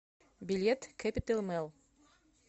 билет кэпитал мэл